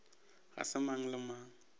ga se mang le mang